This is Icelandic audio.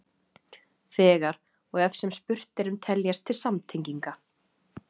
Þegar og ef sem spurt er um teljast til samtenginga.